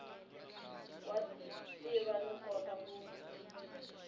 wa tiva no kota ku